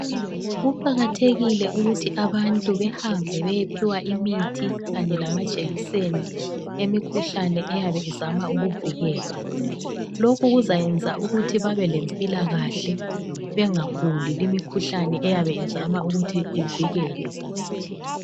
Kuqakathekile ukuthi abantu behambe beyephiwa imithi kanye lamajekiseni emikhuhlane eyabe izama ukuvikelwa. Lokhu kuzayenza umuthi babelempilakahle bengaguli limikhuhlane eyabe izama ukuthi ivikelwe.